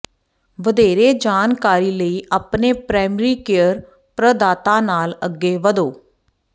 ਵਧੇਰੇ ਜਾਣਕਾਰੀ ਲਈ ਆਪਣੇ ਪ੍ਰਾਇਮਰੀ ਕੇਅਰ ਪ੍ਰਦਾਤਾ ਨਾਲ ਅੱਗੇ ਵਧੋ